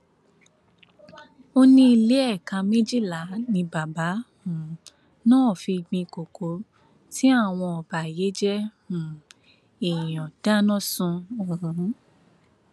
ó ní ilé éékà méjìlá ni bàbá um náà fi gbin kókó tí àwọn ọbàyéjẹ um èèyàn dáná sun ọhún